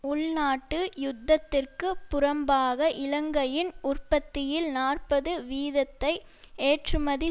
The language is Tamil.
உள்நாட்டு யுத்தத்திற்கு புறம்பாக இலங்கையின் உற்பத்தியில் நாற்பது வீதத்தை ஏற்றுமதி